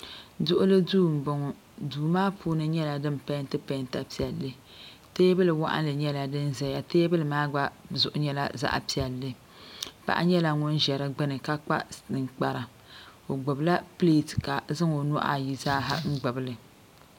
Duɣuli duu m boŋɔ duu maa puuni nyɛla din penti penta piɛlli teebili waɣinli nyɛla din zaya teebuli maa gba zuɣu nyɛla zaɣa piɛlli paɣa nyɛla ŋun ʒɛ di gbini ka kpa ninkpara o gbibila pileti ka zaŋ o nuhi ayi zaa gbibili.